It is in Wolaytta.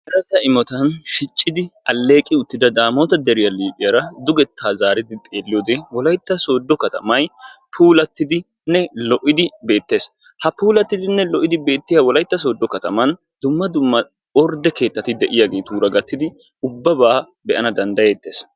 Mereta imotan shiccidi alleeqi uttida daamoota deriya liiphiyaara dugettaa zaaridi xeelliyode wolaytta sooddo katamay puulattidinne lo''idi beettees. Ha puulattidinne lo''idi beettiya sooddo kataman dumma dumma ordde keettati de'iyageetura gattidi ubbabaa be'ana danddayeettees.